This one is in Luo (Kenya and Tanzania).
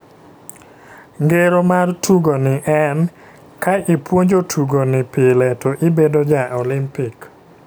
Ngero mar tugo ni en, ka ipwonjo tugo ni pile to ibedo ja olimpik.